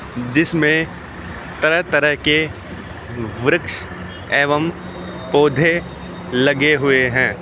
जिसमें तरह-तरह के वृक्ष एवं पौधे लगे हुए हैं।